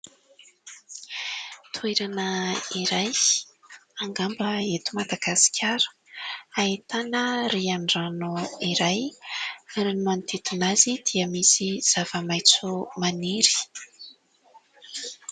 Toerana iray, angamba eto Madagasikara. Ahitana rian-drano iray ary ny manodidina azy dia misy zavamaitso maniry.